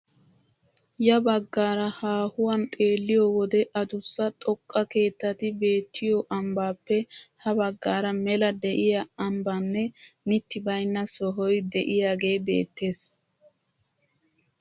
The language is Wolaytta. Ya baggaara haahuwaan xeelliyoo wode adussa xoqqa keettati beettiyoo ambbappe ha baggaara mela de'iyaa aybanne mitti baynna sohoy de'iyaagee beettees.